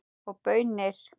Og baunir.